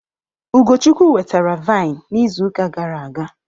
Ugochukwu wetara vine n'izu uka gara aga.